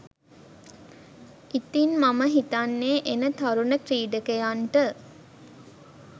ඉතින් මම හිතන්නේ එන තරුණ ක්‍රීඩකයන්ට